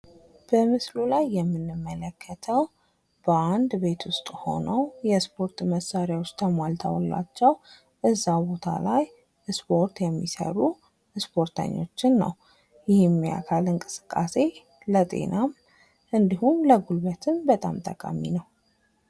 በምስሉ ላይ የምንመለከተው በአንድ ቤት ውስጥ ሆነው ፣የስፖርት መሳሪያዎች ተሟልተውላቸው እዛው ቦታ ላይ ስፖርት የሚሰሩ ስፖርተኞችን ነው። ይህም የአካል እንቅስቃሴ ለጤናም እንዲሁም ለጉልበትም በጣም ጠቃሚ ነው።